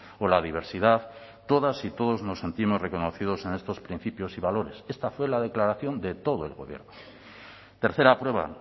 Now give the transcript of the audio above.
o la diversidad todas y todos nos sentimos reconocidos en estos principios y valores esta fue la declaración de todo el gobierno tercera prueba